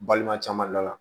Balima caman dala